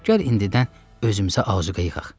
Gəl indidən özümüzə azuqə yığaq.